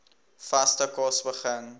vaste kos begin